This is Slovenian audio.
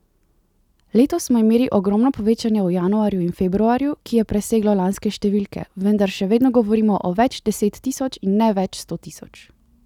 Letos smo imeli ogromno povečanje v januarju in februarju, ki je preseglo lanske številke, vendar še vedno govorimo o več deset tisoč in ne več sto tisoč.